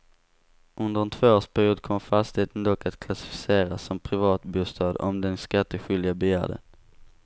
Under en tvåårsperiod kommer fastigheten dock att klassificeras som privatbostad om den skattskyldige begär det.